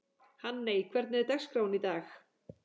Hanney, hvernig er dagskráin í dag?